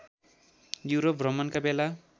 Europe भ्रमणका बेला